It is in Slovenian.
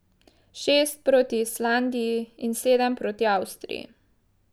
Šest proti Islandiji in sedem proti Avstriji.